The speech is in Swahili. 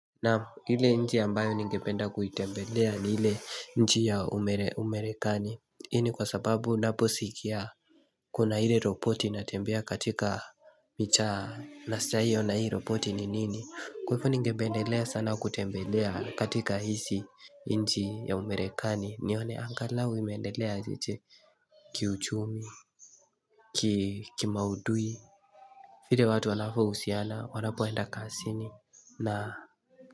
Naam ile nchi ambayo ningependa kuitembelea ni ile nchi ya Umere Umerekani. Hii ni kwa sababu unaposikia Kuna ile ropoti natembea katika michaa nasaiyo na hiyo ropoti ni nini. Kwa hivo ni ngependelea sana kutembelea katika hisi n nchi ya Umerekani nione angalau imeendelea aje ki uchumi, ki maudui, vile watu wanavo husiana wanapoenda kasini na.